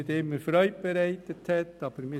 Ich sage nur ganz kurz etwas zum BaK-Präsidium.